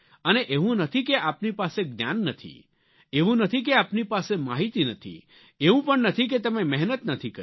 અને એવું નથી કે આપની પાસે જ્ઞાન નથી એવું નથી કે આપની પાસે માહિતી નથી એવું પણ નથી કે તમે મહેનત નથી કરી